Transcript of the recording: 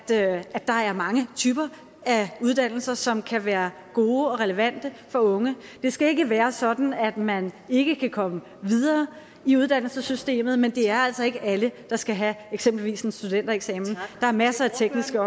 der er der er mange typer af uddannelser som kan være gode og relevante for unge det skal ikke være sådan at man ikke kan komme videre i uddannelsessystemet men det er altså ikke alle der skal have eksempelvis en studentereksamen der er masser af tekniske